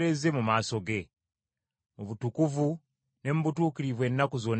mu butukuvu ne mu butuukirivu ennaku zonna ez’obulamu bwaffe.